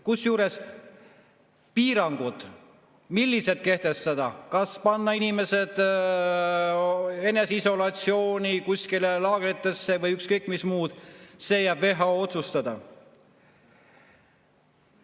Kusjuures piirangud, mida kehtestada – kas panna inimesed eneseisolatsiooni, kuskile laagritesse või ükskõik mis muud –, jäävad WHO otsustada.